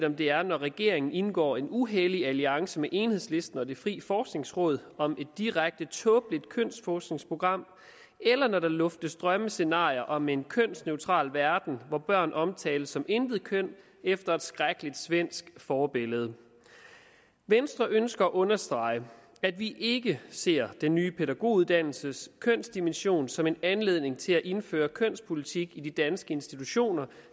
om det er når regeringen indgår en uhellig alliance med enhedslisten og det frie forskningsråd om et direkte tåbeligt kønsforskningsprogram eller når der luftes drømmescenarier om en kønsneutral verden hvor børn omtales som intetkøn efter et skrækkeligt svensk forbillede venstre ønsker at understrege at vi ikke ser den nye pædagoguddannelses kønsdimension som en anledning til at indføre kønspolitik i de danske institutioner